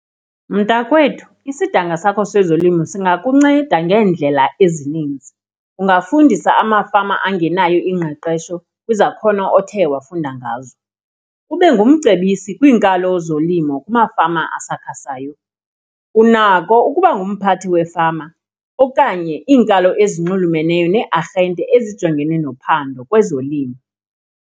Mntakwethu, isidanga sakho sezolimo singakunceda ngeendlela ezininzi, ungabafundisa amafama angenayo ingqeqesho izakhono othe wafunda ngazo, ube ngumcebisi kwiinkalo zolimo kumafama asakhasayo. Unako ukuba ngumphathi wefama okanye iinkalo ezinxulumeneyo neearhente ezijongene nophando kwezolimo.